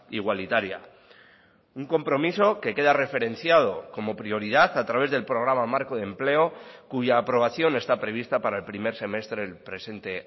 igualitaria un compromiso que queda referenciado como prioridad a través del programa marco de empleo cuya aprobación está prevista para el primer semestre del presente